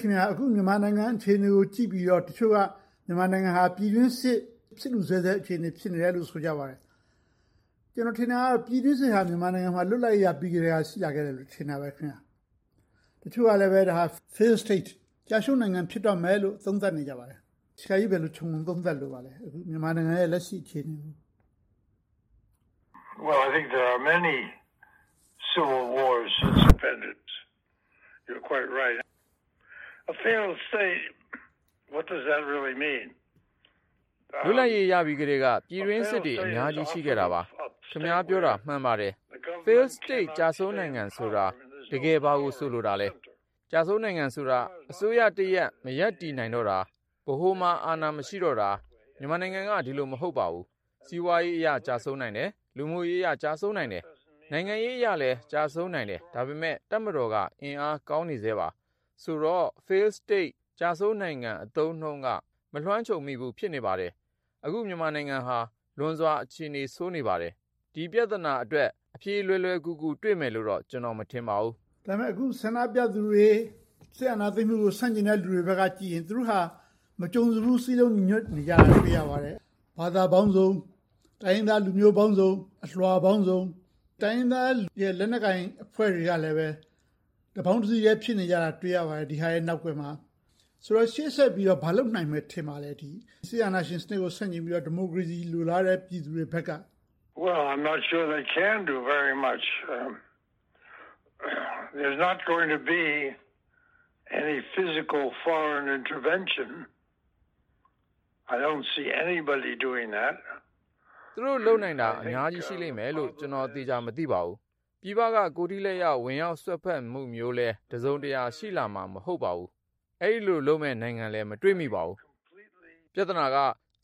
ခင်များ… အခု မြန်မာနိုင်ငံအခြေအနေကို ကြည့်ပြီးတော့ တချို့က မြန်မာနိုင်ငံဟာ ပြည်တွင်းစစ် ဖြစ်လု့ဆဲဆဲ ဖြစ်နေတယ်လို့ ဆိုကြပါတယ်။ ကျနော်ထင်တာတော့ ပြည်တွင်းစစ်ဟာ မြန်မာနိုင်ငံမှာ လွတ်လပ်ရေးရပြီးကတည်းက ရှိလာခဲ့တယ်လို့ ထင်တာပဲ။ တချို့ကလဲ ဒါက Failed State ကျရှုံးနိုင်ငံ ဖြစ်တော့မယ်လို့ သုံးသပ်နေကြပါတယ်။ ဆရာကြီးအနေနဲ့ အခုလက်ရှိ မြန်မာနိုင်ငံ အခြေအနေကို ဘယ်လို သုံးသပ်လိုပါသလဲ။ လွတ်လပ်ရေးရပြီးကတည်းက ပြည်တွင်းစစ်တွေ အများကြီး ရှိခဲ့တာပါ။ ခင်များ ပြောတာ မှန်ပါတယ်။ Failed State ကျရှုံးနိုင်ငံဆိုတာ တကယ်ဘာကို ဆိုလိုတာလဲ။ ကျရှုံးနိုင်ငံဆိုတာ အစိုးရတရပ် မရပ်တည်နိုင်တော့တာ။ ဗဟိုမှာ အာဏာ မရှိတော့တာ။ မြန်မာနိုင်ငံက ဒီလိုမဟုတ်ပါဘူး။ စီးပွားရေးအရ ကျရှုံးနိုင်တယ်။ လူမှုရေးရ ကျရှုံးနိုင်တယ်။ နိုင်ငံရေးအရလည်း ကျရှုံးနိုင်တယ်။ ဒါပေမဲ့ တပ်မတော်က အင်အားကောင်းနေဆဲပါ။ ဆိုတော့ Failed State ကျရှုံးနိုင်ငံ အသုံးအနှုန်းက မလွှမ်းခြုံမိဘူး ဖြစ်နေပါတယ်။ အခု မြန်မာနိုင်ငံဟာ လွန်စွာအခြေအနေ ဆိုးနေပါတယ်။ ဒီပြဿနာအတွက် အဖြေလွယ်လွယ်ကူကူ တွေ့မယ်လို့တော့ ကျနော် မထင်ပါဘူး။ ဒါပေမဲ့ အခု ဆန္ဒပြသူတွေ၊ စစ်အာဏာသိမ်းတဲ့ လူတွေဘက်ကကြည့်ရင် သူတို့ဟာ မကြုံစဖူး စည်းလုံးညီညွှတ်နေတာကို တွေ့ရတယ်။ ဘာသာပေါင်းစုံ၊ တိုင်းရင်းသားလူမျိုးပေါင်းစုံ၊ အလွှာပေါင်းစုံ၊ တိုင်းရင်းသား လက်နက်ကိုင်အဖွဲ့တွေကလည်း တပေါင်းတစည်းထဲ ဖြစ်နေတာကို တွေ့ရပါတယ်။ ဒီဟာတွေရဲ့ နောက်ကွယ်မှာ။ ဆိုတော့ ရှေ့ဆက်ပြီးတော့ ဘာတွေလုပ်နိုင်မယ် ထင်ပါသလဲ။ စစ်အာဏာရှင်စနစ်ကို ဆန့်ကျင်ပြီးတော့ ဒီမိုကရေစီ လိုလားတဲ့ ပြည်သူတွေဘက်က။ သူတို့လုပ်နိုင်တာ အများကြီးရှိလိမ့်မယ်လို့ ကျနော် သေချာမသိပါဘူး။ ပြည်ပက ကိုယ်ထိလက်ရောက် ဝင်ရောက်စွက်ဖက်တာမျိုးလဲ တစုံတရာ ရှိလာမှာ မဟုတ်ပါဘူး။ အဲဒီလိုလုပ်မယ့် နိုင်ငံလဲ မတွေ့မိပါဘူး။ ပြဿနာက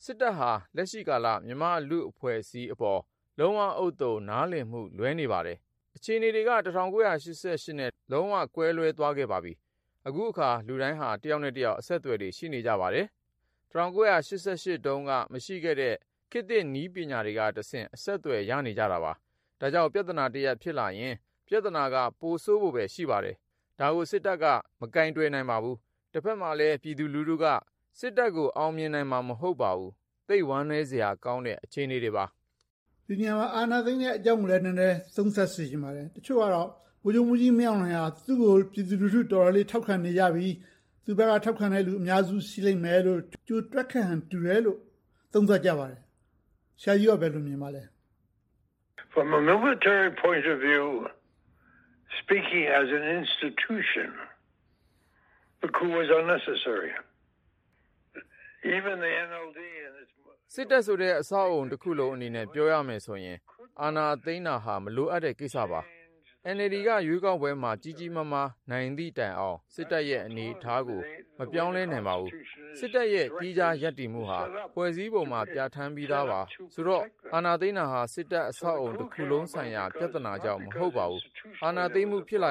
စစ်တပ်က လက်ရှိကာလ မြန်မာ့လူအဖွဲ့အစည်းအပေါ် လုံးဝဥဿုံ နားလည်မှု လွဲနေပါတယ်။ အခြေအနေက ၁၉၈၈ နဲ့ လုံးဝကွဲလွဲသွားခဲ့ပါပြီ။ အခုအခါ လူတွေက တယောက်နဲ့တယောက် အဆက်အသွယ်တွေ ရှိနေကြပါတယ်။ ၁၉၈၈ တုန်းက မရှိခဲ့တဲ့ ခေတ်သစ်နည်းပညာတွေကတဆင့် အဆက်အသွယ်တွေ ရနေကြတာပါ။ ဒါကြောင့် ပြဿနာတရပ် ဖြစ်လာရင် ပြဿနာက ပိုဆိုးဖို့ပဲ ရှိပါတယ်။ ဒါကို စစ်တပ်က မကိုင်တွယ်နိုင်ပါဘူး။ တဘက်မှာလဲ ပြည်သူလူထုက စစ်တပ်ကို အောင်မြင်နိုင်မှာ မဟုတ်ပါဘူး။ သိပ်ဝမ်းနည်းစရာကောင်းတဲ့ အခြေအနေတွေပါ။ ဒီနေရာမှာ အာဏာသိမ်းတဲ့အကြောင်းကိုလဲ နည်းနည်းသုံးသပ်စေချင်ပါတယ်။ တချို့က ဗိုလ်ချုပ်မှူးကြီးမင်းအောင်လှိုင်က သူကို ပြည်သူလူထု တော်တော်လေး ထောက်ခံနေကြပြီ၊ သူ့ဘက်က ထောက်ခံတဲ့လူ အများစု ရှိလိမ့်မယ်လို့ ကြိုတွက်ခဲ့ဟန် တူတယ်လို့ သုံးသပ်ကြပါတယ်။ ဆရာကြီး ဘယ်လိုမြင်ပါသလဲ။ စစ်တပ်ဆိုတဲ့ အဆောက်အအုံတခုလုံးအနေနဲ့ ပြောရမယ်ဆိုရင် အာဏာသိမ်းတယ်ဆိုတာ လိုအပ်တဲ့ကိစ္စပါ။ NLD က ရွေးကောက်ပွဲမှာ ကြီးကြီးမားမား နိုင်သည့်တိုင်အောင် စစ်တပ်ရဲ့ အနေအထားကို မပြောင်းလဲနိုင်ပါဘူး။ စစ်တပ်ရဲ့ သီးခြားရပ်တည်မှုဟာ ဖွဲ့စည်းပုံမှာ ပြဌာန်းပြီးသာပါ။ ဆိုတော့ အာဏာသိမ်းတယ်ဆိုတာ စစ်တပ်အဆောက်အအုံဆိုင်ရာ ပြဿနာကြောင့် မဟုတ်ပါဘူး။ အာဏာသိမ်းမှု ပြဿနာ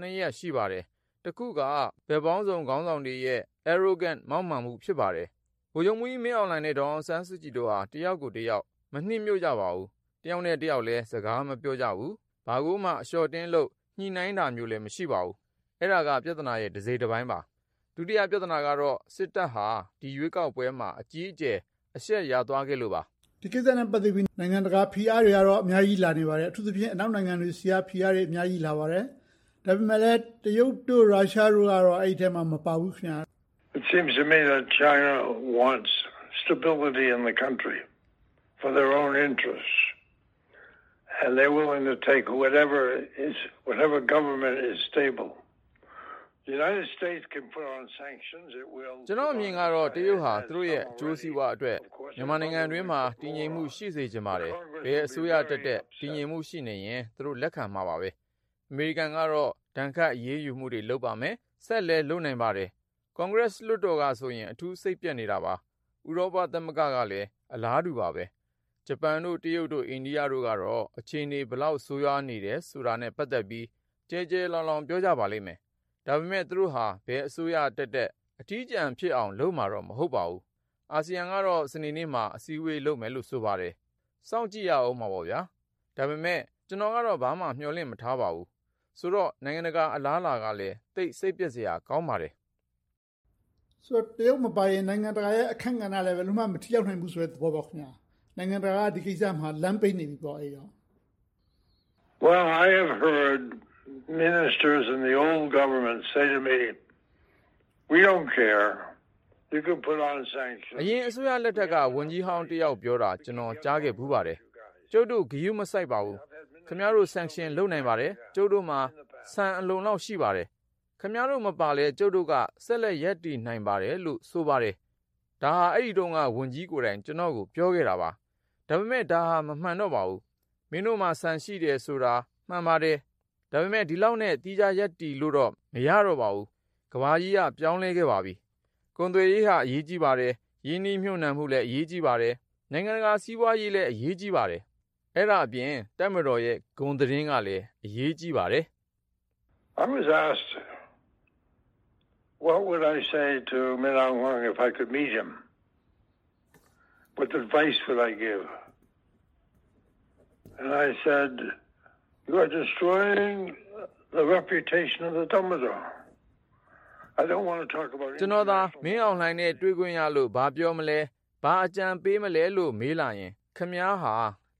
နှစ်ရပ် ရှိပါတယ်။ တစ်ခုက ဘက်ပေါင်းစုံ ခေါင်းဆောင်တွေရဲ့ Arrogance မောက်မာမှု ဖြစ်ပါတယ်။ ဗိုလ်ချုပ်မှူးကြီးမင်းအောင်လှိုင်နဲ့ ဒေါ်အောင်ဆန်းစုကြည်တို့ဟာ တစ်ယောက်ကိုတစ်ယောက် မနှစ်မြို့ကြပါဘူး။ တစ်ယောက်နဲ့တစ်ယောက်လည်း စကားမပြောကြဘူး။ ဘာကိုမှ အလျှော့အတင်းလုပ် ညှိနှိုင်းတာမျိုးလည်း မရှိပါဘူး။ အဲဒါက ပြဿနာရဲ့ တစိတ်တပိုင်းပါ။ ဒုတိယပြဿနာကတော့ စစ်တပ်ဟာ ဒီရွေးကေက်ပွဲမှာ အကြီးအကျယ် အရှက်ရသွားခဲ့လို့ပါ။ ဒီကိစ္စနဲ့ ပတ်သက်ပြီး နိုင်ငံတကာဖိအားတွေကတော့ အများကြီးလာနေပါတယ်။ အထူးသဖြင့် အနောက်နိုင်ငံတွေဆီက ဖိအားတွေ အများကြီးလာနေပါတယ်။ ဒါပေမဲ့လဲ တရုတ်၊ ရုရှားတို့ကတော့ အဲဒီအထဲ မပါဘူး။ ကျနော့်အမြင်ကတော့ တရုတ်ဟာ သူတို့ရဲ့ အကျိုးစီးပွားအတွက် မြန်မာနိုင်ငံအတွင်းမှာ တည်ငြိမ်မှု ရှိစေချင်ပါတယ်။ ဘယ်အစိုးရတက်တက် တည်ငြိမ်မှု ရှိနေရင် သူတို့လက်ခံမှာပဲ။ အမေရိကန်ကတော့ ဒဏ်ခတ်အရေးယူမှု လုပ်ပါလိမ့်မယ်။ ဆက်ပြီးတော့လဲ လုပ်နိုင်ပါတယ်။ ကွန်ဂရက်လွှတ်တော်ကဆိုရင် အထူးစိတ်ပျက်နေတာပါ။ ဥရောပ သမဂ္ဂကလည်း အလားတူပါပဲ။ ဂျပန်၊ တရုတ်၊ အိန္ဒိယတို့ကတော့ အခြေအနေ ဘယ်လောက်ဆိုးဝါးနေတာနဲ့ ပတ်သက်ပြီး ကျယ်ကျယ်လောင်လောင် ပြောကြပါလိမ့်မယ်။ ဒါပေမဲ့ သူတို့ဟာ ဘယ်အစိုးရတက်တက် အထီးကျန်ဖြစ်အောင်တော့ လုပ်မှာမဟုတ်ပါဘူး။ အာဆီယံကတော့ စနေနေ့မှာ အစည်းအဝေးလုပ်မယ်လို့ ဆိုပါတယ်။ စောင့်ကြည့်ရအုံးမှာပေါ့။ ဒါပေမဲ့ ကျနော်ကတော့ ဘာမှမျှော်လင့်မထားပါဘူး။ ဆိုတော့ နိုင်ငံတကာ အလားအလာကလဲ သိပ်စိတ်ပျက်စရာ ကောင်းပါတယ်။ ဆိုတော့ တရုတ်မပါရင် နိုင်ငံတကာရဲ့ အခန်းကဏ္ဍကလဲ ဘယ်လိုမှ မထိရောက်ဘူးဆိုတဲ့ သဘောပေါ့။ နိုင်ငံတကာက ဒီကိစ္စမှာ လမ်းပိတ်နေပြီပေါ့။ အရင်အစိုးရလက်ထက်က ဝန်ကြီးဟောင်းတစ်ယောက်ပြောတာ ကျနော် ကြားခဲ့ဖူးပါတယ်။ ကျုပ်တို့ ဂရုမစိုက်ပါဘူး။ ခင်များတို့ sanction လုပ်နိုင်ပါတယ်။ ကျုပ်တို့မှာ ဆန်အလုံအလောက် ရှိပါတယ်။ ခင်များတို့ မပါလဲ ကျုပ်တို့က ဆက်လက်ရပ်တည်နိုင်ပါတယ်လို့ ဆိုပါတယ်။ ဒါဟာ အဲဒီတုန်းက ဝန်ကြီးကိုယ်တိုင် ကျနော့်ကို ပြောခဲ့တာပါ။ ဒါပေမဲ့ ဒါဟာ မမှန်တော့ပါဘူး။ မင်းတို့မှာ ဆန်ရှိတယ်ဆိုတာ မှန်ပါတယ်။ ဒါပေမဲ့ ဒီလောက်နဲ့ သီးခြားရပ်တည်လို့တော့ မရတော့ပါဘူး။ ကမ္ဘာကြီးက ပြောင်းလဲခဲ့ပါပြီ။ ကုန်သွယ်ရေးဟာ အရေးကြီးပါတယ်။ ရင်းနှီးမြုပ်နှံမှုလည်း အရေးကြီးပါတယ်။ နိုင်ငံတကာ စီးပွားရေးလည်း အရေးကြီးပါတယ်။ အဲဒါအပြင် တပ်မတော်ရဲ့ ဂုဏ်သတင်းကလည်း အရေးကြီးပါတယ်။ ကျနော်သာ မင်းအောင်လှိုင်နဲ့ တွေ့ခွင့်ရလို့ ဘာပြောမလဲ၊ ဘာအကြံပေးမလဲလို့ မေးလာရင် ခင်များဟာ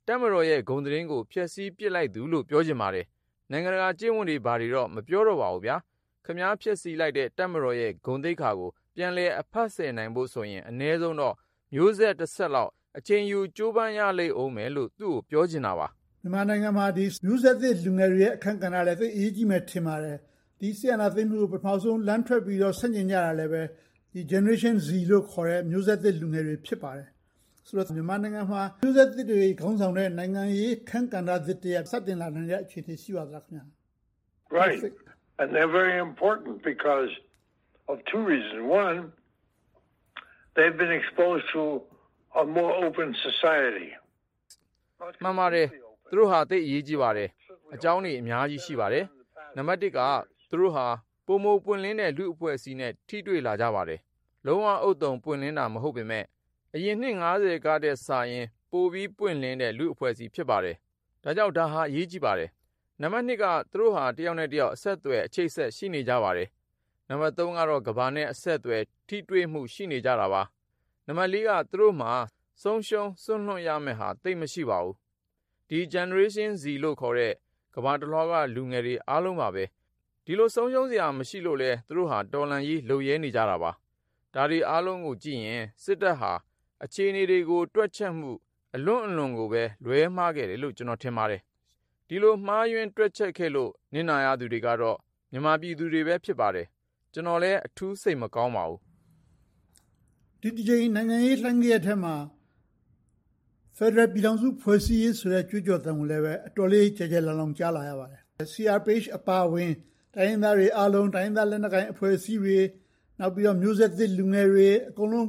တပ်မတော်ရဲ့ ဂုဏ်သတင်းကို ဖျက်ဆီးပစ်လိုက်သူလို့ ပြောချင်ပါတယ်။ နိုင်ငံတကာကျင့်ဝတ်တွေ ဘာတွေတော့ မပြောလိုပါဘူး။ ခင်များ ဖျက်ဆီးလိုက်တဲ့ တပ်မတော်ရဲ့ ဂုဏ်သိက္ခာကို ပြန်လည်အဖက်ဆယ်နိုင်ဖို့ဆိုရင် အနည်းဆုံးတော့ မျိုးဆက်တဆက်လောက်တော့ အချိန်ယူ ကြိုးပမ်းရလိမ့်အုံးမယ်လို့ သူကိုပြောချင်တာပါ။ မြန်မာနိုင်ငံမှာ မျိုးဆက်သစ်လူငယ်တွေရဲ့ အခန်းကဏ္ဍလည်း သိပ်အရေးကြီးမယ်လို့ ထင်ပါတယ်။ ဒီစစ်အာဏာသိမ်းမှုကို ပထမဦးဆုံး လမ်းထွက်ပြီးတော့ ဆန့်ကျင်ကြတာလဲ Generation Z လို့ခေါ်တဲ့ မျိုးဆက်သစ်လူငယ်တွေ ဖြစ်ပါတယ်။ ဆိုတော့ မြန်မာနိုင်ငံမှာ မျိုးဆက်သစ်တွေ ခေါင်းဆောင်တဲ့ နိုင်ငံရေးအခန်းကဏ္ဍသစ်တရပ် စတင်လာနိုင်တဲ့ အခြေအနေ ရှိပါသလား။ မှန်ပါတယ်။ သူတို့ဟာ သိပ်ကို အရေးကြီးပါတယ်။ အကြောင်းတွေ အများကြီး ရှိပါတယ်။ နံပတ်တစ်က သူတို့ဟာ ပိုမိုပွင့်လင်းတဲ့ လူ့အဖွဲ့အစည်းနဲ့ ထိတွေ့လာကြပါတယ်။ လုံးဝဥဿုံပွင့်လင်းတာ မဟုတ်ပေမယ့်၊ အရင်နှစ် ထက်စာရင် ပိုပြီးပွင့်လင်းတဲ့ လူ့အဖွဲ့အစည်း ဖြစ်ပါတယ်။ ဒါကြောင့် ဒါဟာ အရေးကြီးပါတယ်။ နံပတ်နှစ်က သူတို့ဟာ တစ်ယောက်နဲ့တစ်ယောက် အဆက်အသွယ်၊ အချိတ်အဆက် ရှိနေကြပါတယ်။ နံပတ်သုံးကတော့ ကမ္ဘာနဲ့ အဆက်အသွယ်၊ ထိတွေ့မှု ရှိနေကြတာပါ။ နံပတ်လေးက သူတို့မှာ ဆုံးရှုံးစွန့်လွှတ်ရမယ့်ဟာ သိပ်မရှိပါဘူး။ ဒီ Generation Z လို့ခေါ်တဲ့ ကမ္ဘာတလွှာက လူငယ်တွေအားလုံးပါပဲ။ ဒီလို ဆုံးရှုံးစရာ မရှိလို့လဲ သူတို့ဟာ တော်လှန်ရေး လုပ်ရဲနေကြတာပါ။ ဒါတွေအားလုံးကိုကြည့်ရင် စစ်တပ်ဟာ အခြေအနေတွေကို တွက်ချက်မှု အလွန့်အလွန်ကိုပဲ လွဲမှားခဲ့တယ်လို့ ကျနော်ထင်ပါတယ်။ ဒီလို မှားယွင်းတွက်ချက်ခဲ့လို့ နစ်နာရတဲ့လူတွေကတော့ မြန်မာပြည်သူတွေပဲ ဖြစ်ပါတယ်။ ကျနော်လဲ အထူးစိတ်မကောင်းပါဘူး။ ဒီတကြိမ် နိုင်ငံရေးလှိုင်းဂယက်ထဲမှာ ဖယ်ဒရယ်ပြည်ထောင်စု ဖွဲ့စည်းရေးဆိုတဲ့ ကြွေးကြော်သံကိုလည်း အတော်လေး ကျယ်ကျယ်လောင်လောင် ကြားနေရပါတယ်။ CRPH အပါအဝင် တိုင်းရင်းသားတွှေအားလုံး၊ တိုင်းရင်းသား လက်နက်ကိုင်အဖွဲ့အစည်းတွေ၊ နောက် မျိုးဆက်သစ်လူငယ်တွေ အကုန်လုံး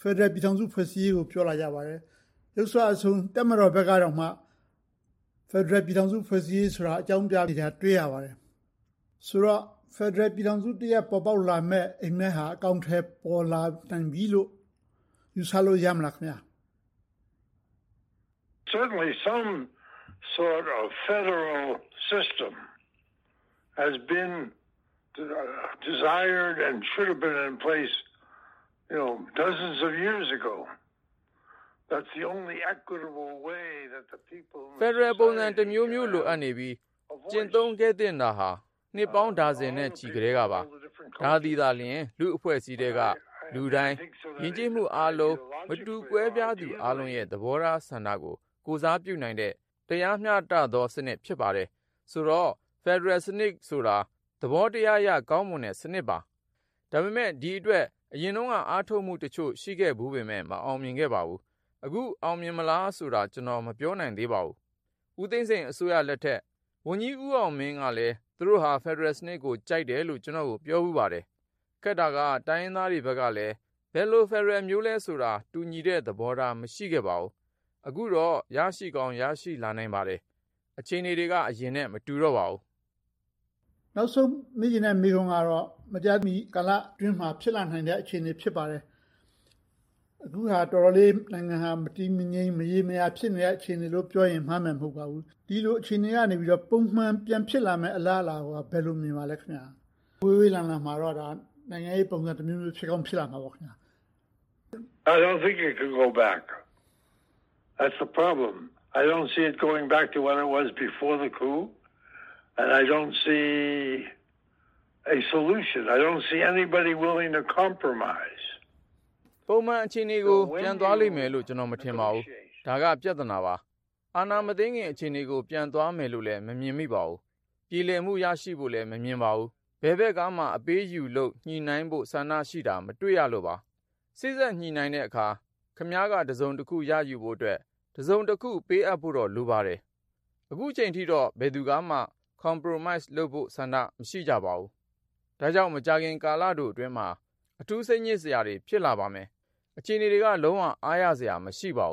ဖယ်ဒရယ်ပြည်ထောင်စု ဖွဲ့စည်းရေးကို ပြောလာကြပါတယ်။ ယုတ်စွအဆုံး တပ်မတော်ဘက်ကတောင်မှ ဖယ်ဒရယ်ပြည်ထောင်စု ဖွဲ့စည်းရေးကို အကြောင်းပြနေတာကို တွေ့ရပါတယ်။ ဆိုတော့ ဖယ်ဒရယ်ပြည်ထောင်စုတရပ် ပေါ်ပေါက်လာမယ့် အိပ်မက်ဟာ အကောင်အထည် ပေါ်လာပြီလို့ ယူဆလို့ ရပြီလား။ ဖယ်ဒရယ်ပုံစံတမျိုးမျိုး လိုအပ်နေပြီ ကျင့်သုံးခဲ့သင့်တာဟာ နှစ်ပေါင်းဒါဇင်နဲ့ချီကတည်းပါ။ ဒါသည်သာလျှင် လူ့အဖွဲ့အစည်းထဲက လူတိုင်း။ ယဉ်ကျေးမှုအားလုံး မတူကွဲပြားသူအားလုံးရဲ့ သဘောထားဆန္ဒကို ကိုယ်စားပြုနိုင်တဲ့ တရားမျှတသောစနစ် ဖြစ်ပါတယ်။ ဆိုတော့ ဖယ်ဒရယ်စနစ်ဆိုတာ သဘောတရားအရ ကောင်းမွန်တဲ့စနစ်ပါ။ ဒါပေမဲ့ ဒီအတွက် အရင်တုန်းက အားထုတ်မှုတချို့ ရှိခဲ့ဖူးပေမယ့် မအောင်မြင်ခဲ့ပါဘူး။ အခု အောင်မြင်မလားဆိုတာ ကျနော် မပြောနိုင်သေးပါဘူး။ ဦးသိန်းစိန်အစိုးရလက်ထက် ဝန်ကြီးဦးအောင်မင်းကလဲ သူတို့ဟာ ဖယ်ဒရယ်စနစ်ကို ကြိုက်တယ်လို့ ကျနော့်ကို ပြောဖူးပါတယ်။ ခက်တာက တိုင်းရင်းသားတွေဘက်ကလဲ ဘယ်လိုဖယ်ဒရယ်မျိုးလဲဆိုတာ တူညီတဲ့သဘောထား မရှိခဲ့ပါဘူး။ အခုတော့ ရရှိကောင်း ရရှိလာနိုင်ပါတယ်။ အခြေအနေတွေက အရင်နဲ့ မတူတော့ပါဘူး။ နောက်ဆုံးမေးချင်တဲ့ မေးခွန်းကတော့ မကြာမီကာလအတွင်းမှာ ဖြစ်လာနိုင်တဲ့ အခြေအနေ ဖြစ်ပါတယ်။ အခုဟာ တော်တော်လေး နိုင်ငံဟာ မတည်မငြိမ် မရေမရာ ဖြစ်နေတဲ့ အခြေအနေလို့ ပြောရင် မှားမယ်မဟုတ်ပါဘူး။ ဒီလိုအခြေအနေကနေ ပုံမှန်ပြန်ဖြစ်လာမယ့် အလားအလာကို ဘယ်လိုမြင်ပါသလဲ။ ဝေးဝေးလံလံမှာတော့ နိုင်ငံရေးပုံစံတမျိုးမျိုး ဖြစ်ကောင်းဖြစ်လာနိုင်မှာပေါ့။ ပုံမှန်အခြေအနေကို ပြန်သွားလိမ့်မယ်လို့ ကျနော် မထင်ပါဘူး။ ဒါက ပြဿနာပါ။ အာဏာမသိမ်းခင် အခြေအနေကို ပြန်သွားမယ်လို့လဲ ကျနော် မမြင်မိပါဘူး။ ပြေလည်မှု ရရှိဖို့လဲ မမြင်ပါဘူး။ ဘယ်ဘက်ကမှ အပေးအယူလုပ် ညှိနှိုင်းဖို့ ဆန္ဒရှိတာကို မတွေ့ရပါဘူး။ စေ့စပ်ညှိနှိုင်းတဲ့အခါ ခင်များက တစုံတရာ ရယူဖို့အတွက် တစုံတခု ပေးအပ်ဖို့တော့ လိုပါတယ်။ အခုအချိန်အထိတော့ ဘယ်သူကမှ Compromise လုပ်ဖို့ဆန္ဒ မရှိကြပါဘူး။ ဒါကြောင့် မကြာခင်ကာလတိုအတွင်းမှာ အထူးစိတ်ညစ်စရာတွေ ဖြစ်လာပါမယ်။ အခြေအနေတွေက လုံးဝအားရစရာ မရှိပါဘ